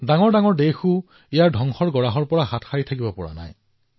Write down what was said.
আনকি ডাঙৰ দেশবোৰেও ইয়াৰ ধ্বংসৰ পৰা পৰিত্ৰাণ পাবলৈ সক্ষম হোৱা নাই